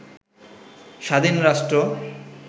স্বাধীন রাষ্ট্র